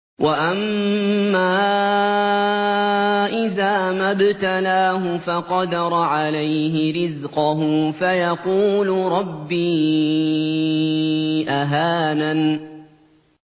وَأَمَّا إِذَا مَا ابْتَلَاهُ فَقَدَرَ عَلَيْهِ رِزْقَهُ فَيَقُولُ رَبِّي أَهَانَنِ